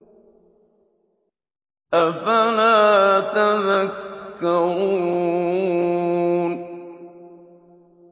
أَفَلَا تَذَكَّرُونَ